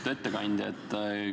Lugupeetud ettekandja!